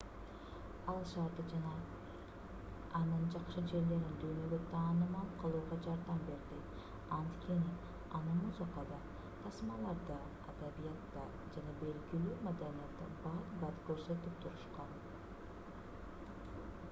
ал шаарды жана анын жакшы жерлерин дүйнөгө таанымал кылууга жардам берди анткени аны музыкада тасмаларда адабиятта жана белгилүү маданиятта бат-бат көрсөтүп турушкан